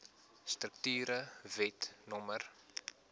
strukture wet no